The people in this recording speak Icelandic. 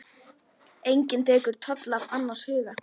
Enginn tekur toll af annars huga.